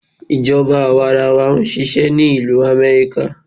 Ìjọba àwarawa ń ṣisẹ́ ni ìlú Amẹ́ríkà.